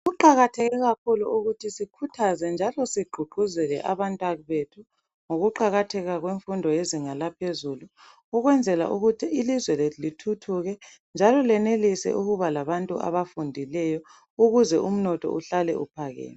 Kuqakatheke kakhulu ukuthi sikhuthaze njalo sigqugquzele abantwabethu ngokuqakatheka kwemfundo yezinga laphezulu, ukwenzela ukuthi ilizwe lethu lithuthuke njalo lenelise ukuba labantu abafundileyo ukuze umnotho uhlale uphakeme.